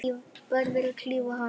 Verður að klífa hann.